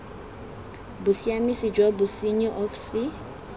bosiamisi jwa bosenyi of ce